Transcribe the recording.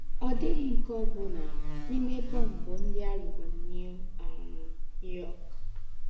Ọ̀ dị̀ghị́ nke ọ́ bụ́nà n’íme bọ́mbụ̀ ńdị́ à rùrù New um York. um